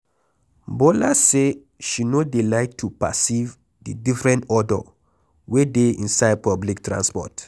Bola say she no dey like to perceive the different odor wey dey inside public transport.